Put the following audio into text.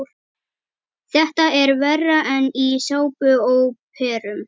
Þetta er verra en í sápuóperum.